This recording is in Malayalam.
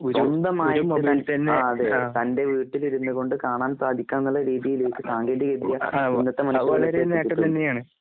സ്വന്തമായിട്ട്തൻ ആഅതെ. തൻ്റെവീട്ടിലിരുന്ന്കൊണ്ട്കാണാൻസാധിക്കാന്നുള്ളരീതിയിലേക്ക് സാങ്കേതികവിദ്യ ഇന്നത്തെമണിക്കൂറിലേക്ക്